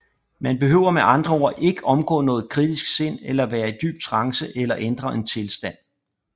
Man behøver med andre ord ikke omgå noget kritisk sind eller være i dyb trance eller ændre en tilstand